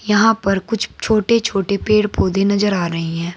यहां पर कुछ छोटे छोटे पेड़ पौधे नजर आ रही हैं।